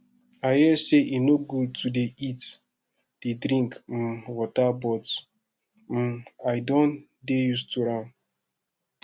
i hear say e no good to dey eat dey drink um water but um i don dey used to am